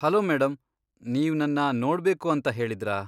Hello madam, ನೀವ್ ನನ್ನ ನೋಡ್ಬೇಕು ಅಂತ ಹೇಳಿದ್ರಾ?